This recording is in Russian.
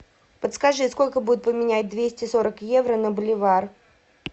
подскажи сколько будет поменять двести сорок евро на боливар